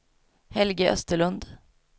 Helge Österlund